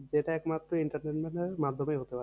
যেটা একমাত্র entertainment এর মাধ্যমেই হতে পারে